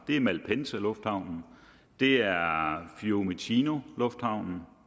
det er malpensalufthavnen det er fiumicinolufthavnen